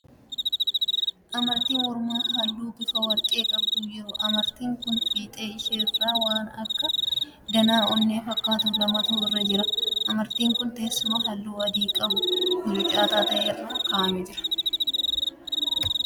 Amartii mormaa halluu bifa warqee qabduu jira. Amartiin kun fiixee ishee irraa waan akka danaa onnee fakkaatu lamatu irra jira. Amartiin kun teessuma halluu adii qabu mucucaataa ta'e irra ka'aamee jira.